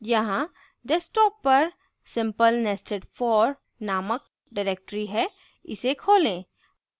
यहाँ desktop पर simplenestedfor named directory है इसे खोलें